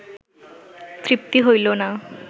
তৃপ্তি হইল না